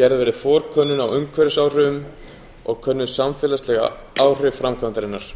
gerð verði forkönnun á umhverfisáhrifum og könnuð samfélagsleg áhrif framkvæmdarinnar